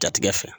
Jatigɛ fɛ